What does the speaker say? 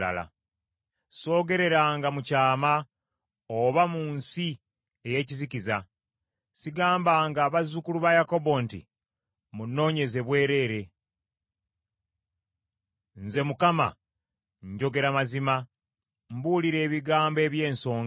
Soogereranga mu kyama, oba mu nsi eyeekizikiza. Sigambanga bazzukulu ba Yakobo nti, ‘Munoonyeze bwereere.’ Nze Mukama njogera mazima, mbuulira ebigambo eby’ensonga.